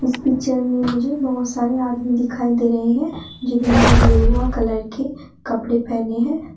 इस पिक्चर में मुझे बहोत सारे आदमी दिखाई दे रहे हैं जिन्होंने गेरुआ कलर के कपड़े पहने हैं।